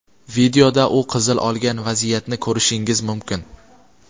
Videoda u qizil olgan vaziyatni ko‘rishingiz mumkin.